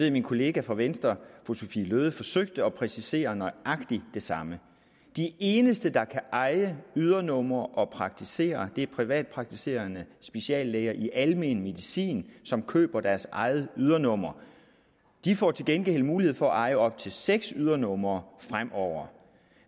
at min kollega fra venstre fru sophie løhde forsøgte at præcisere nøjagtig det samme de eneste der kan eje ydernumre og praktisere er privatpraktiserende speciallæger i almen medicin som køber deres eget ydernummer de får til gengæld mulighed for at eje op til seks ydernumre fremover